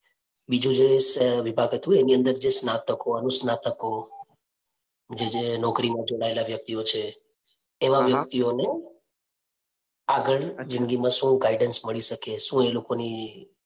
બીજું જે વિભાગ હતું એની અંદર જે સ્નાતકો, અનુસ્નાતકો જે જે નોકરી માં જોડાયેલા વ્યક્તિઓ છે વ્યક્તિઓને આગળ જિંદગી માં શું guidance મળી શકે શું એ લોકો ની